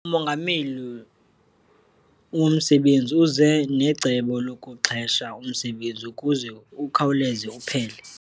Umongameli womsebenzi uze necebo lokuxhesha umsebenzi ukuze ukhawuleze uphele.